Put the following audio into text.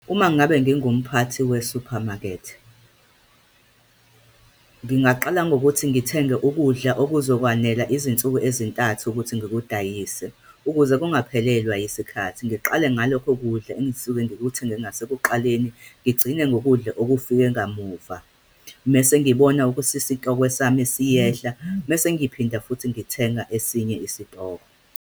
Uma ngabe ngingumphathi we-supermarket, ngingaqala ngokuthi ngithenge ukudla okuzokwanela izinsuku ezintathu ukuthi ngikudayise, ukuze kungaphelelwa yisikhathi. Ngiqale ngalokho kudla engisuke ngikuthenge ngasekuqaleni, ngigcine ngokudla okufike ngamuva. Mese ngibona ukuthi isitokwe sami siyehla, mese ngiphinda futhi ngithenga esinye isitoko.